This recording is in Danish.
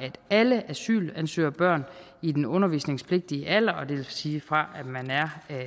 at alle asylansøgerbørn i den undervisningspligtige alder det vil sige fra